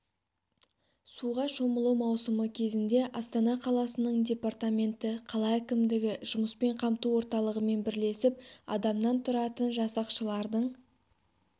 суға шомылу маусымы кезеңіне астана қаласының департаменті қала әкімдігі жұмыспен қамту орталығымен бірлесіп адамнан тұратын жасақшылардың